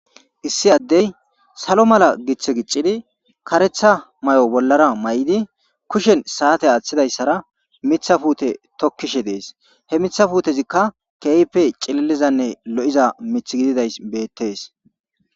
issi addey salo mala giththe giccidi karetha may7o bollara may7idi kushen saate aaththidayssara mitha puute tokkishe dees he mithafuutezikka keype cililizanne lo7iza mith gididay bettes